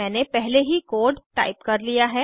मैंने पहले ही कोड टाइप कर लिया है